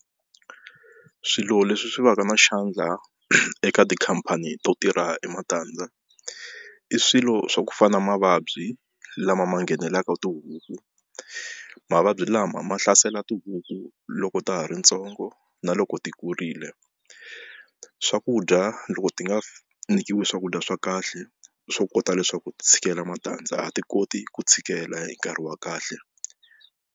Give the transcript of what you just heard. Swilo leswi swi va ka na xandla eka tikhampani to tirha hi matandza i swilo swa ku fana na mavabyi lama ma nghenelelaka tihuku mavabyi lama ma hlasela tihuku hi ku loko ta ha ri ntsongo na loko ti kurile swakudya loko ti nga nyikiwi swakudya swa kahle swo kota leswaku ti tshikela matandza a ti koti ku tshikela hi nkarhi wa kahle.